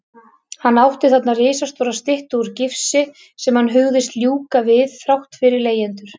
Hann átti þarna risastóra styttu úr gifsi sem hann hugðist ljúka við þrátt fyrir leigjendur.